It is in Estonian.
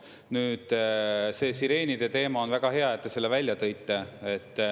Nüüd see sireenide teema – on väga hea, et te selle välja tõite.